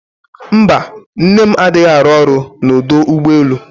Mba, nne m adịghị arụ ọrụ na ọdọ ụgbọelu